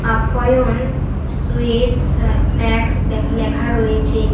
আপ্যায়ন সুইটস আর স্ন্যাকস দেখ লেখা রয়েছে।